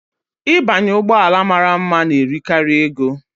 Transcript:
Ịbanye ụgbọ ala mara mma na-eri karị ego.